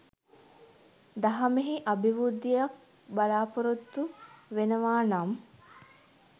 දහමෙහි අභිවෘද්ධියක් බලාපොරොත්තු වෙනවා නම්